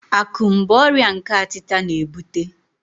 Akum bụ ọrịa nke atita na-ebute.